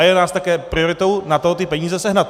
A je nás také prioritou na to ty peníze sehnat.